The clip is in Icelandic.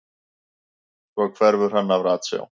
Svo hverfur hann af ratsjá.